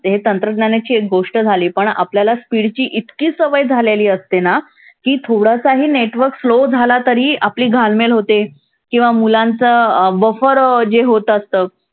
ही तंत्रज्ञानाची एक गोष्ट झाली. पण आपल्याला speed ची इतकी सवय झालेली असते ना, की थोडासाही network slow झाला तरी आपली घालमेल होते. किंवा मुलांचं अं buffer जे होत असतं